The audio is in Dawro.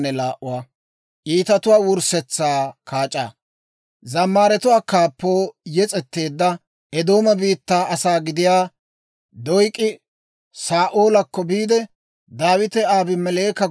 Neenoo, wolk'k'aama bitaniyaw, S'oossaa asatuwaa bolla iitabaa ootsiyaawaadan, gallassaa ubbaan ayaw c'eek'ettay?